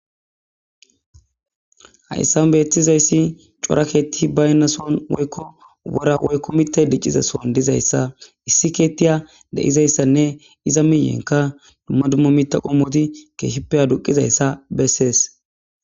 Ha'issan beetizayssi corakeetti baynna son woykko wora woykko mitte diccizason dizayssa issi keettiya de'izayssanne iza miyenka dumma dummo miita qommoti keeshippeya duqizayssa bessees.